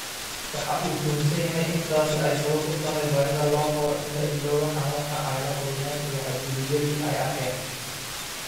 Waxa uu tuhunsan yahay in taasi ay sabab u tahay baahida loo qabo in la iloobo xanuunkii ay la kulmeen iyo xadgudubyadii ay arkeen.